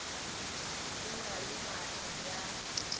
e na le maatla bjalo